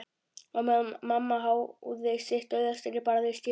Á meðan mamma háði sitt dauðastríð barðist ég við